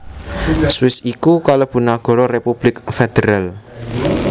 Swiss iku kalebu nagara republik federal